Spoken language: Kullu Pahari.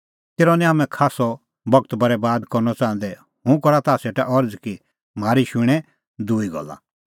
तेरअ निं हाम्हैं खास्सअ बगत बरैबाद करनअ च़ाहंदै हुंह करा ताह सेटा अरज़ कि म्हारी शूणैं दूई गल्ला